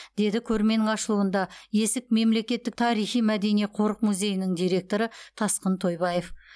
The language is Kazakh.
деді көрменің ашылуында есік мемлекеттік тарихи мәдени қорық музейінің директоры тасқын тойбаев